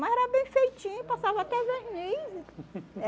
Mas era bem feitinho, passava até verniz.